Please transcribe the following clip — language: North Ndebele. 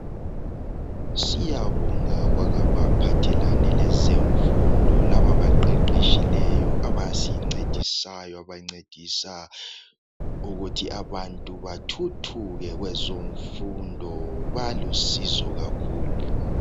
Siyabonga kwabaphathelane lezemfundo laba abaqeqetshileyo abasincedisayo abancedisa ukuthi abantu bathuthuke kwezemfundo balusizo kakhulu